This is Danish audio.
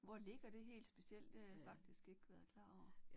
Hvor ligger det helt specielt? Det har jeg faktisk ikke været klar over